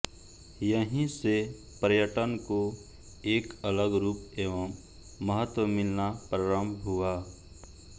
यहीं से पर्यटन को एक अलग रूप एवं महत्त्व मिलना प्रारम्भ हुआ